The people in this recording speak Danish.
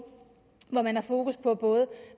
hvor man har fokus på